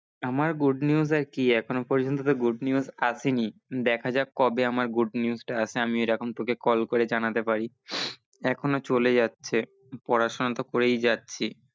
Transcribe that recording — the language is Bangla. আমার good news আর কি এখন পর্যন্ত তো good news আসে নি, দেখা যাক কবে আমার good news টা আসে আমি এরকম তোকে call করে জানাতে পারি। এখনো চলে যাচ্ছে, পড়াশোনা তো করেই যাচ্ছি।